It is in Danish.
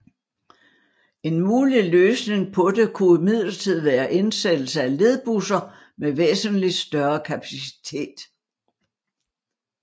En mulig løsning på det kunne imidlertid være indsættelse af ledbusser med væsentlig større kapacitet